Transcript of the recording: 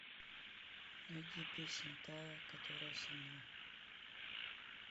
найди песня та которая со мной